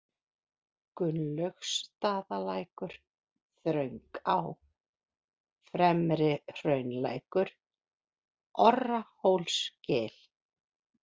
Gunnlaugsstaðalækur, Þröngá, Fremri-Hraunlækur, Orrahólsgil